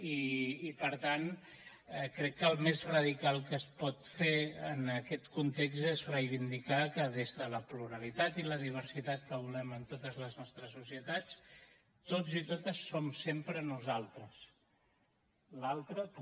i per tant crec que el més radical que es pot fer en aquest context és reivindicar que des de la pluralitat i la diversitat que volem en totes les nostres societats tots i totes som sempre nosaltres l’altre també